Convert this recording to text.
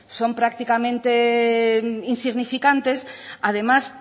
son prácticamente insignificantes además